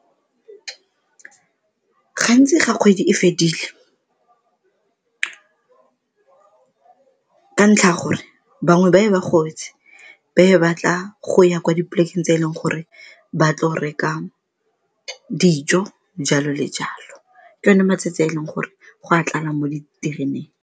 Gantsi ga kgwedi e fedile ka ntlha ya gore bangwe ba be ba gobetse ba ye batla go ya kwa dipolekeng tse e leng gore ba tlo reka dijo, jalo le jalo ke one matsatsi a e leng gore go a tlala mo ditereneng.